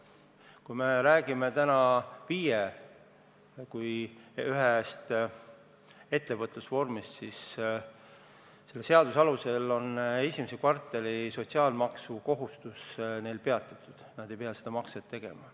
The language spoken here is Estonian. Kui me räägime FIE-st kui ühest ettevõtlusvormist, siis selle seaduse alusel on esimese kvartali sotsiaalmaksukohustus neil peatatud, nad ei pea seda makset tegema.